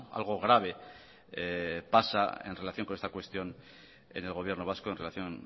algo grave pasa en relación con esta cuestión en el gobierno vasco en relación